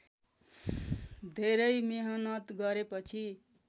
धेरै मेहनत गरेपछि